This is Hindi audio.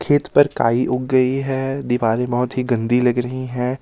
खेत पर काई उग गई है दिवारे बहोत ही गंदी लग रही हैं।